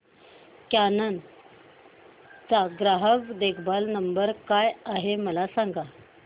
canon चा ग्राहक देखभाल नंबर काय आहे मला सांग